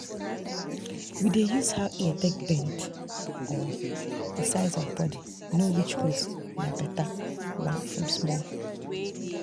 we dey use how ear take bend or the size of body know which goat na better one from small.